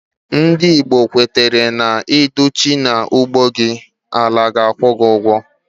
Ndị Igbo kwetara na, Ịdị uchu n'ugbo gị, na àlà ga-akwu gị ugwo